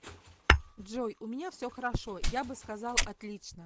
джой у меня все хорошо я бы сказал отлично